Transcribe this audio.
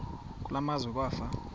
kule meazwe kwafa